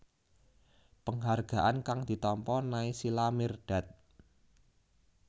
Penghargaan kang ditampa Naysila Mirdad